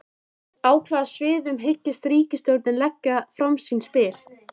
En á hvaða sviðum hyggst ríkisstjórnin leggja fram sín spil?